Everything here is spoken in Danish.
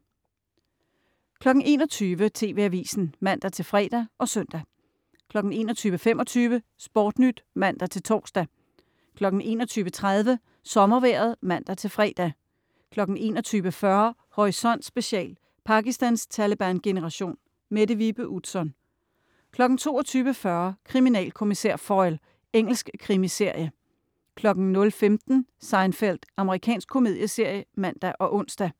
21.00 TV Avisen (man-fre og søn) 21.25 SportNyt (man-tors) 21.30 SommerVejret (man-fre) 21.40 Horisont Special: Pakistans Taleban-generation. Mette Vibe Utzon 22.40 Kriminalkommissær Foyle. Engelsk krimiserie 00.15 Seinfeld. Amerikansk komedieserie (man og ons)